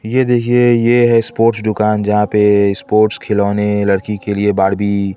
ये देखिए ये है स्पोर्ट्स दुकान जहां पे स्पोर्ट्स खिलौने लड़की के लिए बार्बी --